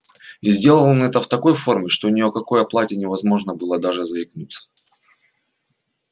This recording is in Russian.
и сделал он это в такой форме что ни о какой оплате невозможно было даже заикнуться